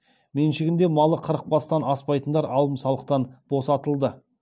меншігінде малы қырықтан бастан аспайтындар алым салықтан босатылды